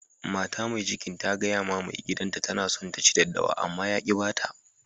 Mata Mai cikin ta gaya ma maigidan ta tana son ta ci daddawa, ama ya ki ba ta